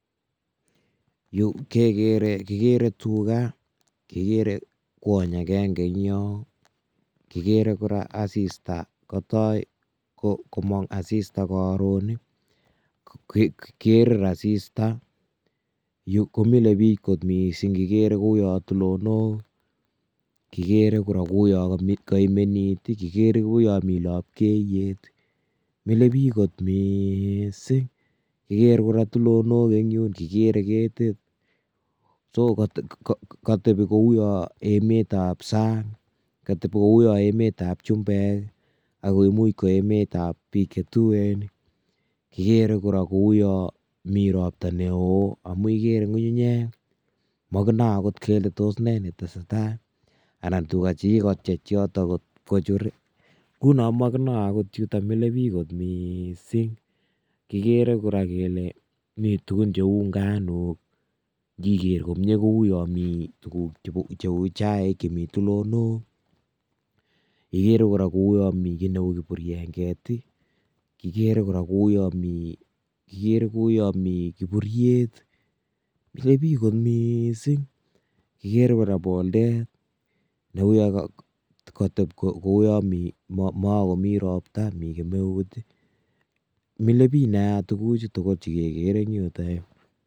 Yu kegere tugaa, kigere kwony agenge en yon, kigere kora asista kotok komong asistaa. Yu komile biik kot missing kigere koun tulonik kora kouyon mi uritiet, kigere kora koun mi lapkeiyet. Mile bike kot missing indiker kora tulonok en yuh kigere ketit, so katebii koun emetab sang. Kateb kouon emetab chumbek ak koimuch kora ko emetab bik chetuen. Kigere kora kouon mi ropta neo, Amin kigere ngungunyek mokinoem okot kele toss nee netesetai. Anan tugaa chekiyookii en yotok ibkochur, ngunon mokinoe akot chutok milee biik kot missing. Kigere kora kele miiten tuguun cheu inganok, ingekeer komie kouon mi tuguuk cheu chaik, En ele loo igere kora mi kit neu kipungweret, kigere koun mi kiburyeet, mile biik kot missing ngamun kigere kora bolder neuyon koteb kouon mokomii roptaa, mile biik nia tuguchutugul chekekereee en yuh.